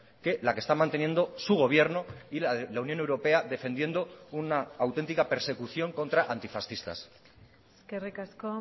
que la que está manteniendo su gobierno y la unión europea defendiendo una auténtica persecución contra antifascistas eskerrik asko